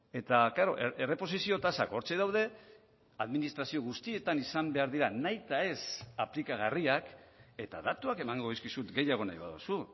eta klaro erreposizio tasak hortxe daude administrazio guztietan izan behar dira nahitaez aplikagarriak eta datuak emango dizkizut gehiago nahi baduzu